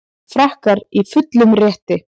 Frakkar í fullum rétti